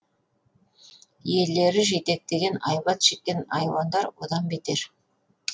иелері жетектеген айбат шеккен айуандар одан бетер